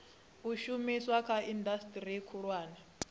u shumiswa kha indasiteri khulwane